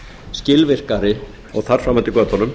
skilvirkari og þar fram eftir götunum